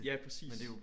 Ja præcis